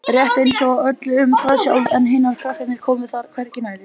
Rétt einsog ég ráði öllu um það sjálf en hinir krakkarnir komi þar hvergi nærri.